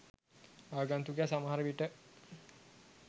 ආගන්තුකයා සමහර විට